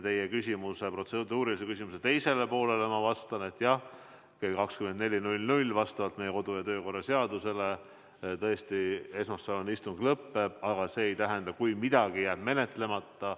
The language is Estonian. Teie protseduurilise küsimuse teisele poolele ma vastan, et jah, kell 24 vastavalt meie kodu- ja töökorra seadusele tõesti esmaspäevane istung lõpeb, aga see ei tähenda, et midagi jääb menetlemata.